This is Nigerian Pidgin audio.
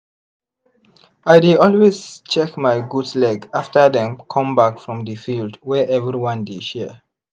i dey always check my goat leg after dem come back from the field wey everyone dey share